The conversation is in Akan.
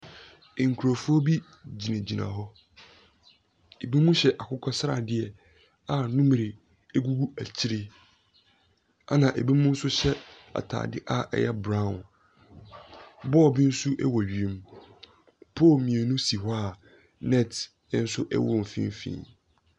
Nkurofoɔ bi gyina gyina hɔ. Ebinom hyɛ akokɔsradeɛ a numre egugu akyire. Ɛna ebinom nso hyɛ ataade a ɛyɛ braon. Bɔɔl bi nso ɛwɔ wiem. Pol mmienu si hɔ a nɛt ɛnso ɛwɔ mfimfini.